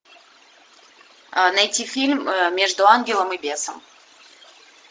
найти фильм между ангелом и бесом